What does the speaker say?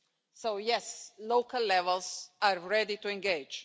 So yes, local levels are ready to engage.